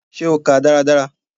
Ṣe o kàá dáradára?